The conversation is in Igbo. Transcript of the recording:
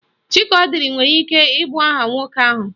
Chikaọdiri nwere ike ịbụ aha nwoke ahụ